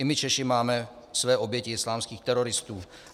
I my Češi máme své oběti islámských teroristů.